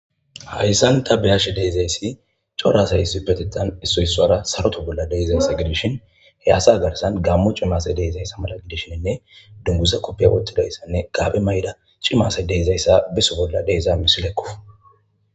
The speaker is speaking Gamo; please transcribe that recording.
hayssan ta beyashi deezayssi corasay isi petitan issu issoara saroto bolla deezaysa gidishin he asa agarsan gammo cimase deeizayssa mala gidishiinne dunguza koppiy wottidayssanne gaabe mayda cimase deizayssa biso bolla deeza misilekku